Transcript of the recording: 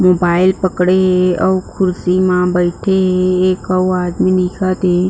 Mobile पकड़े हे अऊ कुर्सी म बईथे हे एक अऊ आदमी दिखत हे।